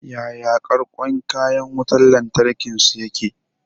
Yaya ƙarƙon kayan wutan lantarkin su yake?